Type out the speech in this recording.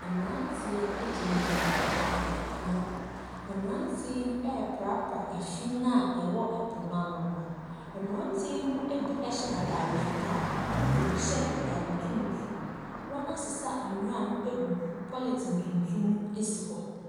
Mmaranteɛ gyina gyina ɛpo ano mmaranteɛ yie prapra fin awɔ ɛpo no ano mmaanteɛ mu bi hyɛ ataadeɛ fitaa ɛna ebi hyɛ ataadeɛ tuntum wɔn asesa nwura no ɛgu polythine tuntum ɛsi hɔ.